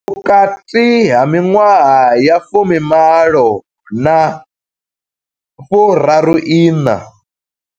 Vhukati ha miṅwaha ya 18 na 34.